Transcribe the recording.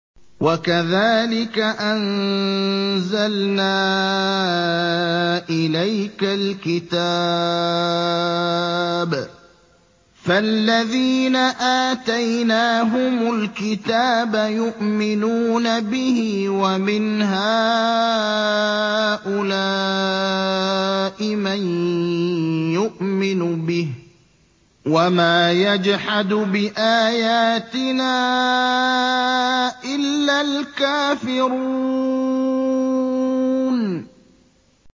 وَكَذَٰلِكَ أَنزَلْنَا إِلَيْكَ الْكِتَابَ ۚ فَالَّذِينَ آتَيْنَاهُمُ الْكِتَابَ يُؤْمِنُونَ بِهِ ۖ وَمِنْ هَٰؤُلَاءِ مَن يُؤْمِنُ بِهِ ۚ وَمَا يَجْحَدُ بِآيَاتِنَا إِلَّا الْكَافِرُونَ